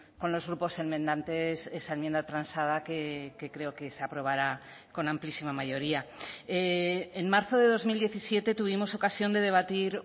con los grupos enmendantes esa enmienda transada que creo que se aprobará con amplísima mayoría en marzo de dos mil diecisiete tuvimos ocasión de debatir